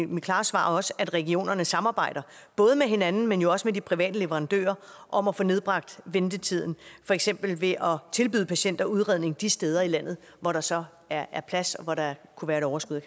mit klare svar at regionerne samarbejder både med hinanden men jo også med de private leverandører om at få nedbragt ventetiden for eksempel ved at tilbyde patienter udredning de steder i landet hvor der så er er plads og hvor der kunne være et overskud